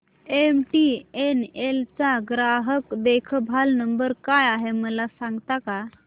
MTNL चा ग्राहक देखभाल नंबर काय आहे मला सांगता का